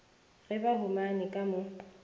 ge ba humane ka mo